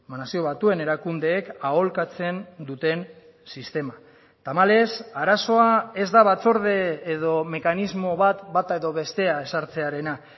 nazio batuen erakundeek aholkatzen duten sistema tamalez arazoa ez da batzorde edo mekanismo bat bata edo bestea ezartzearena